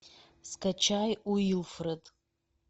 скачай уилфред